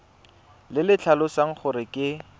le le tlhalosang gore ke